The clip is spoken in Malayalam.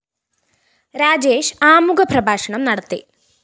രാജേഷ് ആമുഖ പ്രഭാഷണം നടത്തി